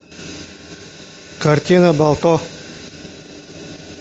картина балто